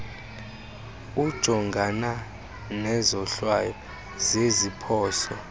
ujongana nezohlwayo zeziphoso